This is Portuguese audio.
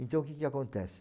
Então, o que que acontece?